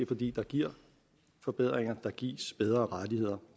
fordi der gives forbedringer og der gives bedre rettigheder